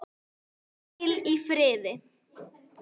Hvíl í friði.